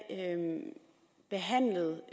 behandlet